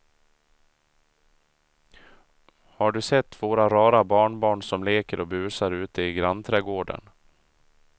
Har du sett våra rara barnbarn som leker och busar ute i grannträdgården!